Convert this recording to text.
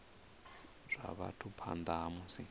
zwa vhathu phanḓa ha musi